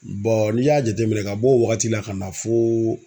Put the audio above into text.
n'i y'a jateminɛ ka bɔ o wagati la ka na fo